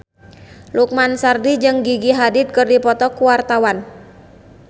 Lukman Sardi jeung Gigi Hadid keur dipoto ku wartawan